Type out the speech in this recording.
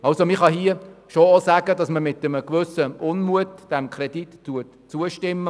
Man kann dazu schon sagen, dass man mangels Alternativen mit einem gewissen Unmut dem Kredit zustimmt.